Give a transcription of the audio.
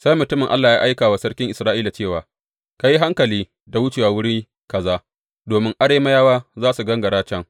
Sai mutumin Allah ya aika wa sarkin Isra’ila cewa, Ka yi hankali da wuce wuri kaza, domin Arameyawa za su gangara can.